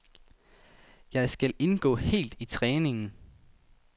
Jeg skal indgå helt i træningen.